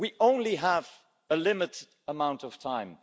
We only have a limited amount of time.